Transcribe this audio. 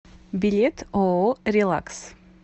билет ооо релакс